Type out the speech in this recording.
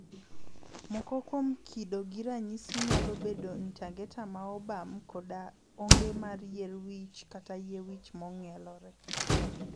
Moko kuom kido gi ranyisi nyalo bedo ntangeta ma obam koda onge mar yier wich kata yie wich mong'elore.